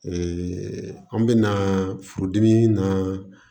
an bɛna furudimi na